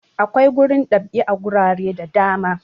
Akwai gurin dab'i a gurare da da ma.